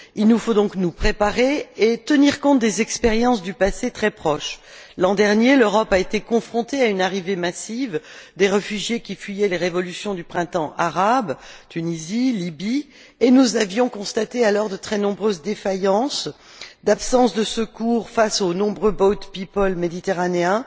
Il nous faut donc nous préparer et tenir compte des expériences du passé très proche. L'an dernier, l'Europe a été confrontée à une arrivée massive de réfugiés qui fuyaient les révolutions du printemps arabe Tunisie, Libye et nous avions constaté alors de très nombreuses défaillances, l'absence de secours face aux nombreux boatpeople méditerranéens,